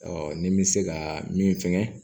ni bɛ se ka min fɛnkɛ